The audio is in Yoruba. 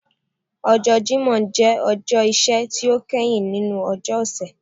Ọjọ Jimọ jẹ ọjọ iṣẹ ti o kẹhin ninu ọjọ ọsẹ.